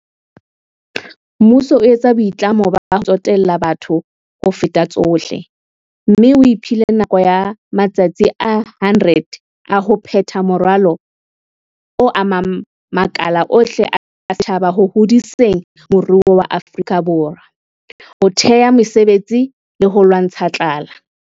Mmuso o etsa boitlamo ba ho tsotella batho ho feta tsohle, mme o iphile nako ya matsatsi a 100 a ho phetha moralo o amang makala ohle a setjhaba ho hodiseng moruo wa Afrika Borwa, ho thea mesebetsi le ho lwantsha tlala.